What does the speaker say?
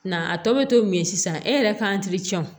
Nga a tɔ bɛ to min ye sisan e yɛrɛ ka